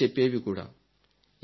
తెలియచెప్పేవీ కూడా